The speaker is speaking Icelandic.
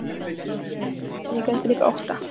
Röddin var höst en ég greindi líka ótta.